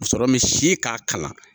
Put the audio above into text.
Musɔrɔ min si k'a kalan.